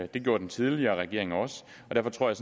det gjorde den tidligere regering også derfor tror jeg